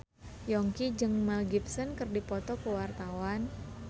Yongki jeung Mel Gibson keur dipoto ku wartawan